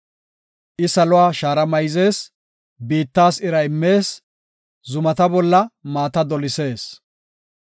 I saluwa shaara mayzees; biittas ira immees; zumata bolla maata dolisees.